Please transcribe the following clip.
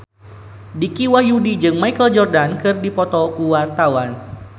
Dicky Wahyudi jeung Michael Jordan keur dipoto ku wartawan